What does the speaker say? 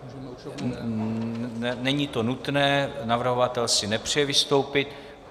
Není to nutné, navrhovatel si nepřeje vystoupit.